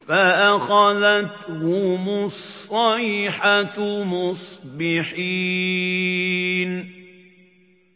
فَأَخَذَتْهُمُ الصَّيْحَةُ مُصْبِحِينَ